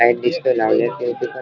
Light सगळ्या लावलेल्या दिसत आहेत.